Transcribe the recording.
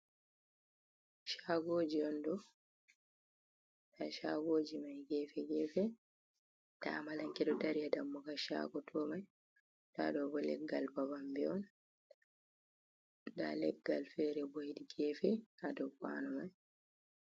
Shagoji on ɗo nda shagoji mai gefe gefe da amalanke do dari ha dammuga shago to mai ɗa ɗo ɓo leggal babambew on da leggal fere ɓo heɗi gefe ha dow kwano mai.